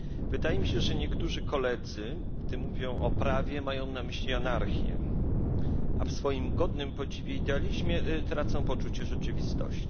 Wydaje mi się, że niektórzy koledzy, gdy mówią o prawie, mają na myśli anarchię, a w swoim godnym podziwu idealizmie tracą poczucie rzeczywistości.